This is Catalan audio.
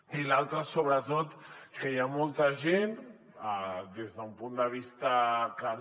i l’altre sobretot que hi ha molta gent des d’un punt de vista no